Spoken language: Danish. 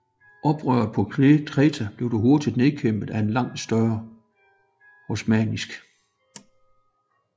Oprøret på Kreta blev dog hurtigt nedkæmpet af en langt større osmannisk